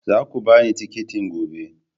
Za ku ba ni tikitin gobe!